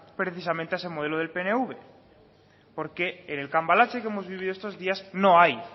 precisamente a ese modelo del pnv porque en el cambalache que hemos vivido estos días no hay